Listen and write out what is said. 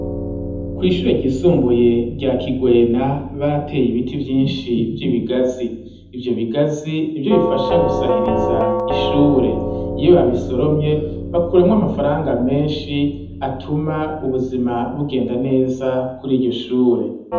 Kw'ishure ryisumbuye rya Kigwena barateye ibiti vyinshi vy'ibigazi, ivyo bigazi nivyo bifasha gusahiriza ishure, iyo babisoromye bakuramwo amafaranga menshi atuma ubuzima bugenda neza kuri ryo shure.